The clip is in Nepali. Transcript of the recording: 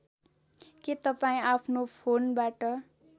के तपाईँ आफ्नो फोनबाट